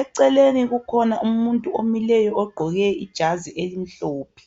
eceleni kukhona umuntu omileyo ogqoke ijazi elimhlophe.